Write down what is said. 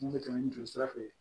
Mun bɛ tɛmɛ ni joli sira fɛ